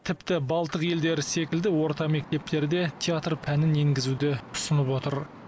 тіпті балтық елдері секілді орта мектептерде театр пәнін енгізуді ұсынып отыр